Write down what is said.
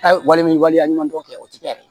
Hali wale waleya ɲuman dɔ kɛ o tɛ kɛ yɛrɛ